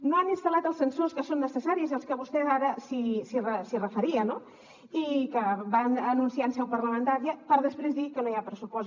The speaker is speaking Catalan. no han instal·lat els sensors que són necessaris i als que vostè ara s’hi referia no i que van anunciar en seu parlamentària per després dir que no hi ha pressupost